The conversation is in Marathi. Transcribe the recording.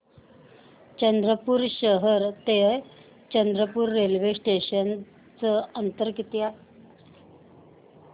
चंद्रपूर शहर ते चंद्रपुर रेल्वे स्टेशनचं अंतर किती